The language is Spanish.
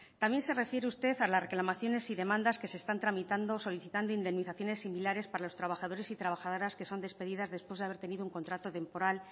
también se refiere usted a las reclamaciones y demandas que se están tramitando solicitando indemnizaciones similares para los trabajadores y trabajadoras que son despedidas después de haber tenido un contrato temporal